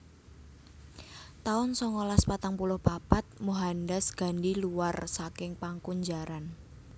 taun songolas patang puluh papat Mohandas Gandhi luwar saking pakunjaran